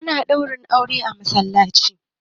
ana Ɗaurin aure a masallaci